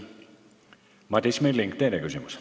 Madis Milling, teine küsimus.